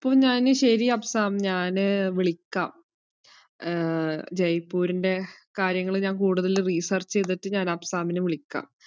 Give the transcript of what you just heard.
അപ്പൊ ഞാന് ശരി അഫ്‌സാം, ഞാന് വിളിക്കാം ആഹ് ജയ്‌പ്പൂരിന്റെ കാര്യങ്ങള് ഞാൻ കൂടുതല് research ചെയ്തിട്ട് ഞാൻ അഫ്സാമിനെ വിളിക്കാം.